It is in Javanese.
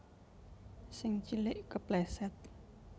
Sing cilik kepleset